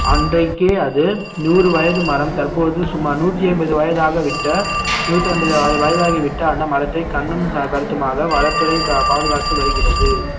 அன்றைக்கே அது நூறு வயது மரம் தற்போது சுமார் நூத்தி ஐம்பது வயதாக விட்ட நூத்தி ஐம்பது வய~ வயதாகிவிட்ட அந்த மரத்தை கண்ணும் க~ கருத்துமாக வனத்துறை பா~ பாதுகாத்து வருகிறது